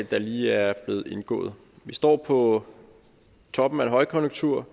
der lige er blevet indgået vi står på toppen af en højkonjunktur